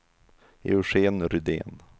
Eugén Rydén